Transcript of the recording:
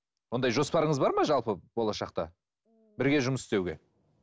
ондай жоспарыңыз бар ма жалпы болашақта бірге жұмыс істеуге